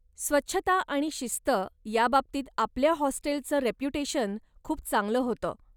स्वच्छता आणि शिस्त याबाबतीत आपल्या हॉस्टेलचं रेप्युटेशन खूप चांगलं होतं.